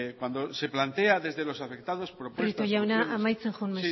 cuando se plantea propuestas desde los afectados prieto jauna amaitzen joan